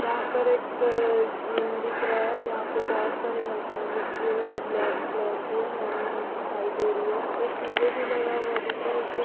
यहाँ पर एक-क -क जिम दिख रहा है जहाँ पे बहुत सारी मशीन रखी हुई है जो ब्लैक कलर की है नई नई दिखाई दे रही है एक डीजे भी लगा हुआ दिख रहा हैं उसके --